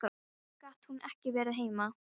Af hverju gat hún ekki verið heima?